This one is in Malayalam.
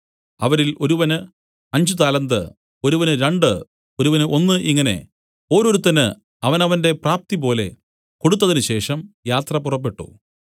അവരിൽ ഒരുവന് അഞ്ച് താലന്ത് ഒരുവന് രണ്ടു ഒരുവന് ഒന്ന് ഇങ്ങനെ ഓരോരുത്തന് അവനവന്റെ പ്രാപ്തിപോലെ കൊടുത്തതിനു ശേഷം യാത്ര പുറപ്പെട്ടു